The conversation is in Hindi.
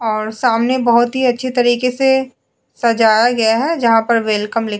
और सामने बहुत हि अछे तरिके से सजाया गया है जहा पर वेलकम लीख --